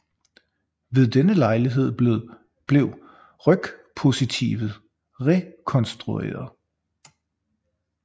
Ved denne lejlighed blev rygpositivet rekonstrueret